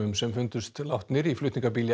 sem fundust látnir í flutningabíl í